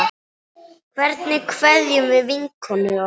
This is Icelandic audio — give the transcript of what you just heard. Hvernig kveðjum við vinkonu okkar?